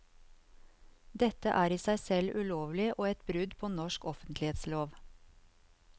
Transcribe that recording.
Dette er i seg selv ulovlig og et brudd på norsk offentlighetslov.